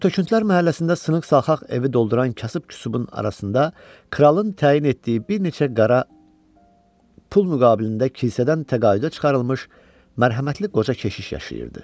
Tör-töküntülər məhəlləsində sınx-salxaq evi dolduran kasıb-küsubun arasında kralın təyin etdiyi bir neçə qara pul müqabilində kilsədən təqaüdə çıxarılmış mərhəmətli qoca keşiş yaşayırdı.